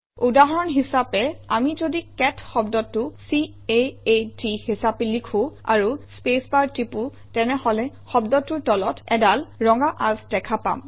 উদাহৰণ হিচাপে আমি যদি কেট শব্দটো c a a ট হিচাপে লিখোঁ আৰু স্পেচবাৰ টিপোঁ তেনেহলে শব্দটোৰ তলত অডাল ৰঙা আঁচ দেখা পাম